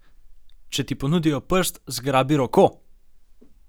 Če ti ponudijo prst, zgrabi roko!